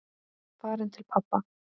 Farin til pabba.